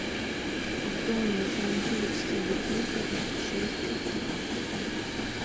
в доме замьють телевизора в шесть утра